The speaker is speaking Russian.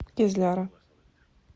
кизляра